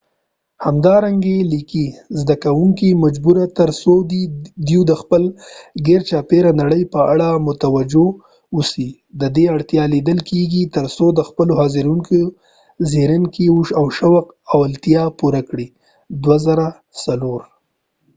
همدارنګه لیکي زده کوونکي مجبوري تر تر څو دوی د خپل ګیرچاپيره نړۍ په اړه متوجه اوسي ددې اړتیا لیدل کېږي تر څو د خپلو حاضرینو د ځیرکۍ او شوق لیوالتیا پوره کړي toto 2004